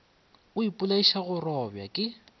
o ipolaiša go robja ke